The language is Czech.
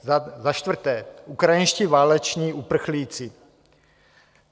Za čtvrté - ukrajinští váleční uprchlíci.